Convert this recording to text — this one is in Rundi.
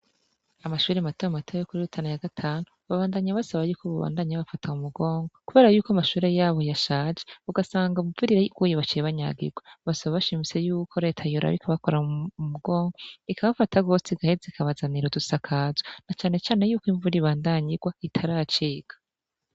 Amashure mato mato yo kuri Rutana ya gatanu babandanya basaba yuko bobandanya babafata mu mugongo kubera yuko amashure yabo yashaje ugasanga imvura iyo iguye baciye banyagirwa basaba bashimitse y'uko leta yoraba ikabakora mu mugongo ikabafata rwose igaheza ikabazanira udusakazo na cane cane yuko imvura ibandanya igwa itaracika.